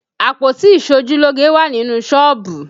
Àpótí iṣojúlógé wà nínú sọ́ọ̀bù